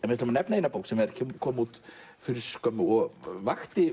við ætlum að nefna eina bók sem kom út fyrir skömmu og